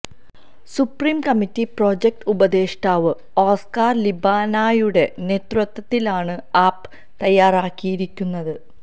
supreme committee projects ഉപദേഷ്ടാവ് Oscar ലിബാനായുടെ നേതത്വത്തിലാണ് ആപ്പ് തയ്യാറാക്കിയിരിക്കുന്നത്